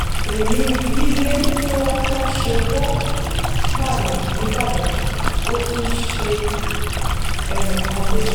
èyí ni bí ilé tí wọ́n ń kọ́ lọ́wọ́ ṣe wọ páàyàn nìbàdàn ò tún ṣe ẹnì kan léṣe